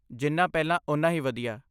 ਜਿੰਨਾ ਪਹਿਲਾਂ ਓਨਾ ਹੀ ਵਧੀਆ।